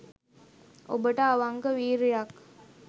ඔබට අවංක වීර්යයක්